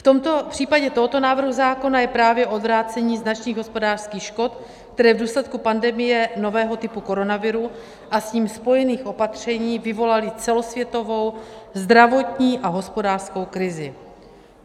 V případě tohoto návrhu zákona je právě odvrácení značných hospodářských škod, které v důsledku pandemie nového typu koronaviru a s ním spojených opatření vyvolaly celosvětovou zdravotní a hospodářskou krizi.